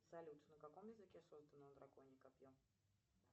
салют на каком языке создано драконье копье